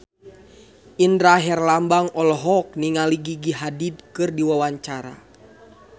Indra Herlambang olohok ningali Gigi Hadid keur diwawancara